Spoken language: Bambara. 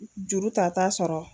Juru ta t'a sɔrɔ.